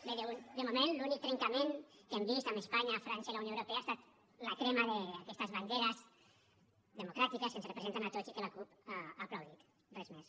bé de moment l’únic trencament que hem vist amb espanya frança i la unió europea ha estat la crema d’aquestes banderes democràtiques que ens representen a tots i que la cup ha aplaudit res més